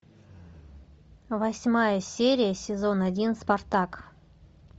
восьмая серия сезон один спартак